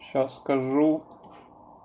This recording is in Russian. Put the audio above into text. сейчас скажу